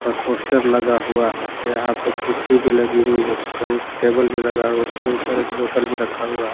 और पोस्टर लगा हुआ है यहां पे कुर्सी भी लगी हुई है कों टेबल भी लगा है उसके ऊपर एक बोटल भी रखा हुआ है।